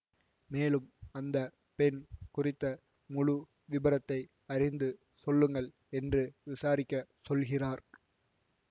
மேலும் அந்த பெண் குறித்த முழு விபரத்தை அறிந்து சொல்லுங்கள் என்று விசாரிக்க சொல்கிறார்